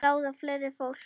Ráða fleira fólk.